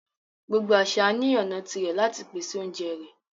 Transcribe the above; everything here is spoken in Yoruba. Gbogbo àṣà ni ọna tí rẹ̀ lati pèsè ọ̀unjẹ rẹ